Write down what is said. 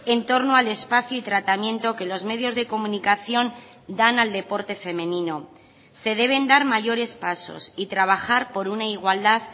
en torno al espacio y tratamiento que los medios de comunicación dan al deporte femenino se deben dar mayores pasos y trabajar por una igualdad